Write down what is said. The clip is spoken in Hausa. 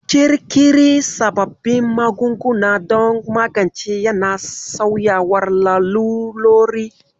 Ƙirƙiri sababbin magunguna don magance yana sauyawar lalurori.